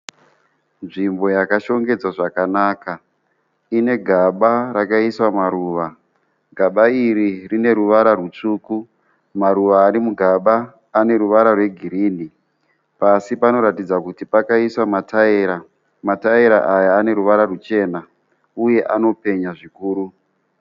Nzvimbo yakashongedzwa zvakanaka inegaba rakaiswa maruva, gaba iri rine ruvara rutsvuku. Maruva arimugaba aneruvara rwegirini. Pasi panoratidza kuti pakaiswa mataira, mataira aya aneruvara ruchena uye anopenya zvikuru.